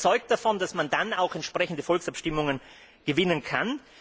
Ich bin überzeugt davon, dass man dann auch entsprechende Volksabstimmungen gewinnen kann.